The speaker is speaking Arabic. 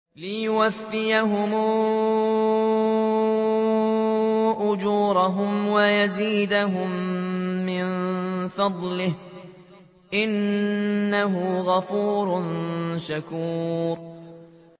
لِيُوَفِّيَهُمْ أُجُورَهُمْ وَيَزِيدَهُم مِّن فَضْلِهِ ۚ إِنَّهُ غَفُورٌ شَكُورٌ